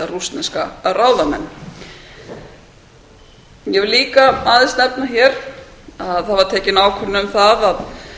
rússneska ráðamenn ég vil líka aðeins nefna hér að það var tekin ákvörðun um það